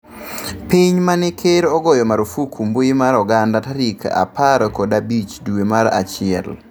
piny mane ker ogoyo marufuku mbui mar oganda tarik apar kod abich dwe mar achiel